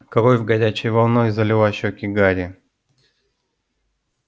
кровь горячей волной залила щеки гарри